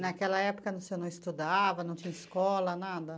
Naquela época você não estudava, não tinha escola, nada?